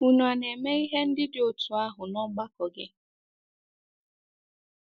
Unu a na-eme ihe ndị dị otú ahụ n’ọgbakọ gị?